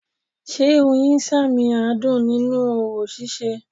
Sé Oyin sàmìn adùn nínú orò síse